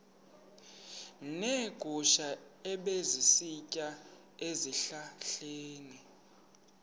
neegusha ebezisitya ezihlahleni